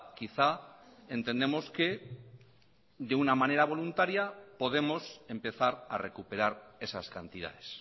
quizá entendemos que de una manera voluntaria podemos empezar a recuperar esas cantidades